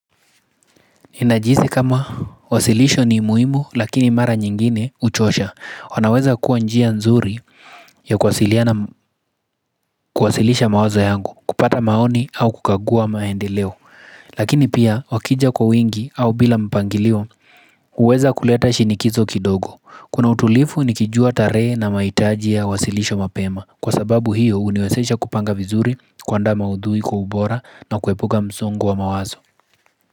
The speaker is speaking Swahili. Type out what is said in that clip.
Najihisi kama wasilisho ni muhimu lakini mara nyingine huchosha. Wanaweza kuwa njia nzuri ya kuwasilisha mawazo yangu kupata maoni au kukagua maendeleo. Lakini pia wakija kwa wingi au bila mpangilio huweza kuleta shinikizo kidogo. Kuna utulivu nikijua tarehe na mahitaji yawasilishwe mapema kwa sababu hiyo huniwezesha kupanga vizuri kuandaa maudhui kwa ubora na kuepuka msongo wa mawazo.